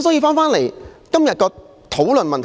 返回今天的討論議題。